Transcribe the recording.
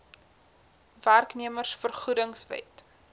werknemers vergoedings wet